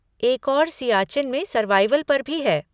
एक और सियाचिन में सर्वाइवल पर भी है।